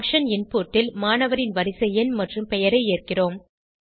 function input ல் மாணவரின் வரிசை எண் மற்றும் பெயரை ஏற்கிறோம்